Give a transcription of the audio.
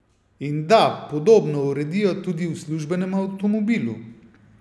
In da podobno uredijo tudi v službenem avtomobilu.